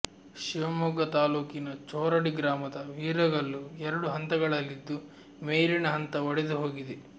ಶಿವಮೊಗ್ಗ ತಾಲೂಕಿನ ಚೋರಡಿ ಗ್ರಾಮದ ವೀರಗಲ್ಲು ಎರಡು ಹಂತಗಳಲ್ಲಿದ್ದು ಮೇಲಿನ ಹಂತ ಒಡೆದು ಹೋಗಿದೆ